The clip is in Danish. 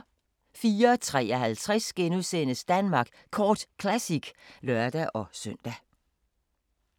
04:53: Danmark Kort Classic *(lør-søn)